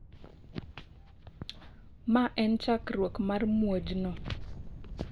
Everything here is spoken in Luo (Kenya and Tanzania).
ma en chakruok mar muoj no